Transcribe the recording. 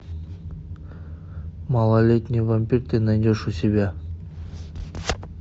малолетний вампир ты найдешь у себя